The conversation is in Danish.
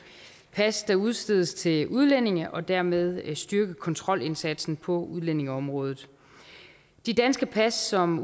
pas der udstedes til udlændinge og dermed styrke kontrolindsatsen på udlændingeområdet de danske pas som